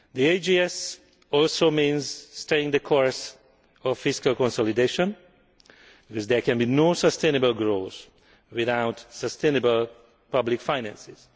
The AGS also means staying the course in fiscal consolidation, because there can be no sustainable growth without sustainable public finances.